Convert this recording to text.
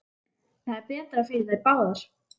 Það er betra fyrir þær báðar.